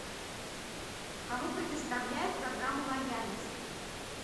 кому предоставляют программу лояльности